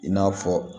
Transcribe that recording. I n'a fɔ